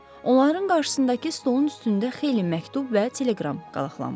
Onların qarşısındakı stolun üstündə xeyli məktub və teleqram qalaqlanmışdı.